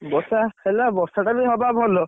ବର୍ଷା ହେଲା ବର୍ଷା ଟା ବି ହବା ଭଲ।